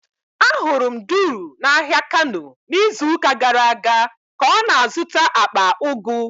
Ahụrụ m Duru n'ahịa Kano n'izuụka gara aga ka ọ na-azụta akpa ugu.